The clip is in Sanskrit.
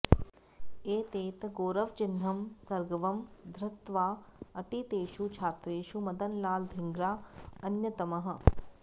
एतत् गौरवचिह्नं सगर्वं धृत्वा अटितेषु छात्रेषु मदनलाल् धिङ्ग्रा अन्यतमः